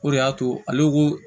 O de y'a to ale ko